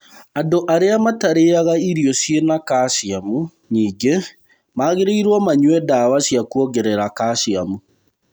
Andũ arĩa matarĩaga irio cina calcium nyingĩ magĩrĩiro manyue ndawa cia kúongerera calcium.